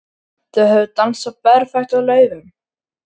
Þau höfðu dansað berfætt á laufum.